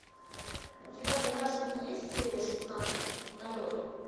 у тебя в загашнике есть серия шестнадцать налет